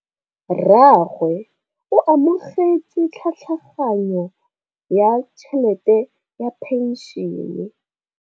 Rragwe o amogetse tlhatlhaganyô ya tšhelête ya phenšene.